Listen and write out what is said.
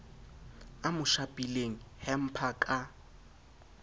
a mo shapileng hamper ka